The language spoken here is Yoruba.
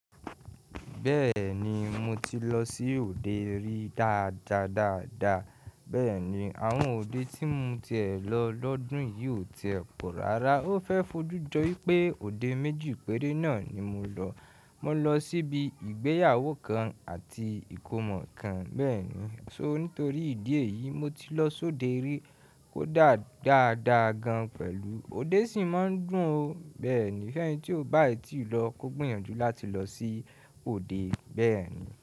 Bẹ́ẹ̀ni, mo ti lọ sí òde rí dáadáa dáadáa, bẹ́ẹ̀ni àwọn òde tí mo ti è lọ lọ́dún yìí ò ti pọ̀ rárá. Ó fẹ́ fojú jọ wípé òde méjì péré náà ni mo lọ. Mo lọ síbi ìgbéyàwó kan àti ìkómọ kan, bẹ́ẹ̀ni. Ṣó ní torí ìdí èyí, mo ti lọ sóde rí kó dá dáadáa gan pẹ̀lú òde sì máa ń dùn ó, bẹ́ẹ̀ni. Fẹ́nìtì ó bá ètí lọ kó gbìyànjú láti lọ sí òde bẹ́ẹ̀ni.